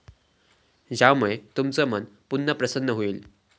ज्यामुळे तुमचं मन पुन्हा प्रसन्न होईल.